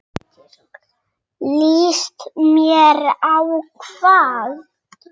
Ég ætlaði að skila henni.